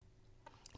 DR1